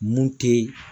Mun te